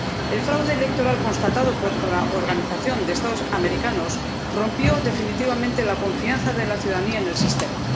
El fraude electoral constatado por la Organización de los Estados Americanos rompió definitivamente la confianza de la ciudadanía en el sistema